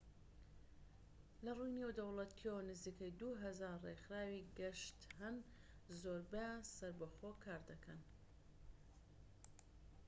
لەڕووی نێودەوڵەتیەوە، نزیکەی ٢٠٠ ڕێکخراوی گەشت هەن. زۆربەیان سەربەخۆ کار دەکەن